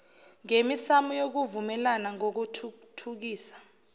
ngemisamo yokuvumelana ngokuthuthukisa